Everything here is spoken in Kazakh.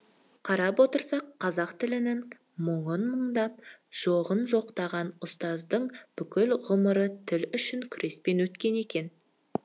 қарап отырсақ қазақ тілінің мұңын мұңдап жоғын жоқтаған ұстаздың бүкіл ғұмыры тіл үшін күреспен өткен екен